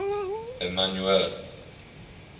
emmanuele